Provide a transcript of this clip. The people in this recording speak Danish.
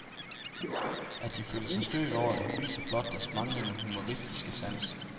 At de føler sig stødt over det, viser blot deres manglende humoristiske sans.